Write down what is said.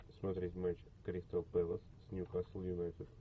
смотреть матч кристал пэлас с ньюкасл юнайтед